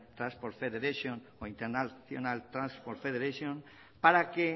transport federation o international transport federation para que